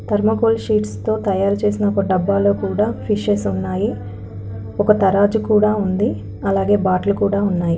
Thermocol sheets తో తయారు చేసిన ఒక డబ్బాలో కూడా ఫిషెస్ ఉన్నాయి ఒక తరాజు కూడా అలాగే బాట్లు కూడా ఉన్నాయి.